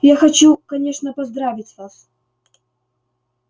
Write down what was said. я хочу конечно поздравить вас